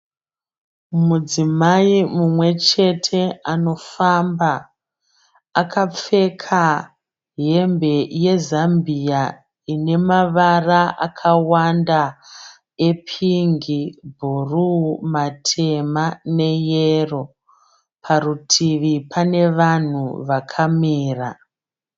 Mudzimai mumwe chete anofamba. Akapfeka hembe yezambiya ine mavara akawanda epingi, bhuruu, matema neyero. Parutivi pane vanhu vakamira.